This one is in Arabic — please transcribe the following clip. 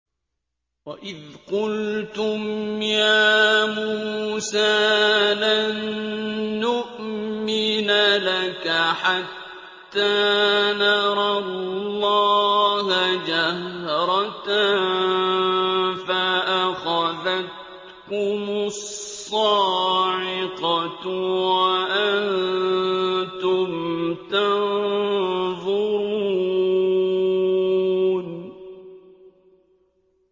وَإِذْ قُلْتُمْ يَا مُوسَىٰ لَن نُّؤْمِنَ لَكَ حَتَّىٰ نَرَى اللَّهَ جَهْرَةً فَأَخَذَتْكُمُ الصَّاعِقَةُ وَأَنتُمْ تَنظُرُونَ